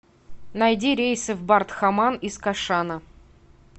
найди рейсы в бардхаман из кашана